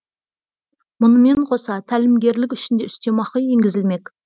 мұнымен қоса тәлімгерлік үшін де үстемақы енгізілмек